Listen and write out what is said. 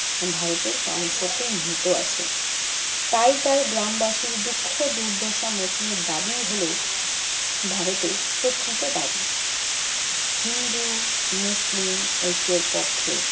ভারতে প্রাণশক্তি নিহিত আছে। তাই তার গ্রামবাসীর দুঃখ-দুর্দশা মোচনের দাবিই হলো ভারতের প্রকৃত দাবি। হিন্দু, মুসলিম ঐক্যের পক্ষে